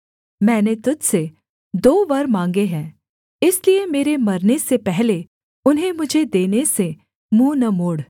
मैंने तुझ से दो वर माँगे हैं इसलिए मेरे मरने से पहले उन्हें मुझे देने से मुँह न मोड़